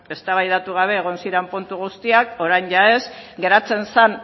eztabaidatu gabe egon ziren puntu guztiak orain jada ez geratzen zen